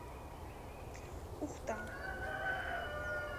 ухта